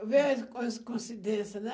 Eu vejo as com coincidências, né?